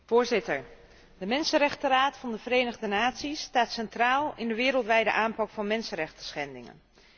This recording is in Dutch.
Voorzitter, de Mensenrechtenraad van de Verenigde Naties staat centraal in de wereldwijde aanpak van mensenrechtenschendingen.